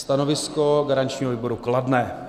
Stanovisko garančního výboru kladné.